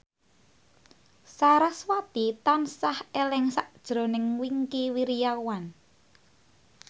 sarasvati tansah eling sakjroning Wingky Wiryawan